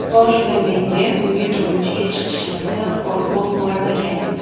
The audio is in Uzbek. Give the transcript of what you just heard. Boshida menda unga turmushga chiqishimda qo‘rquv bo‘lmagan.